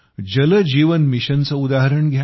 जल जीवन मिशनचे उदाहरण घ्या